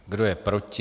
Kdo je proti?